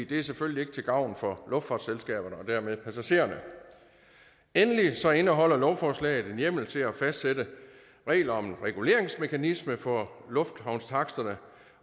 det er selvfølgelig ikke til gavn for luftfartsselskaberne og dermed passagererne endelig indeholder lovforslaget en hjemmel til at fastsætte regler om en reguleringsmekanisme for lufthavnstaksterne